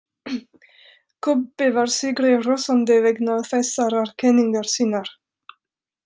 Kobbi var sigri hrósandi vegna þessarar kenningar sinnar.